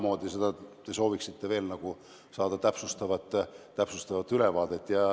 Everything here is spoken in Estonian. Mis täpsustavat ülevaadet te veel saada sooviksite?